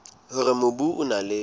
hore mobu o na le